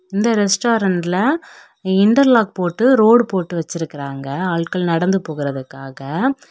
இந்த ரெஸ்டாரண்ட்ல இன்டர்லாக் போட்டு ரோடு போட்டு வச்சிருக்கிறாங்க ஆள்கள் நடந்து போகுறதுக்காக.